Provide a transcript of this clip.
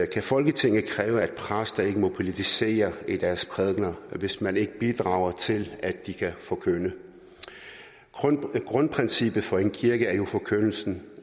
kan folketinget kræve at præster ikke må politisere i deres prædikener hvis man ikke bidrager til at de kan forkynde grundprincippet for en kirke er jo forkyndelsen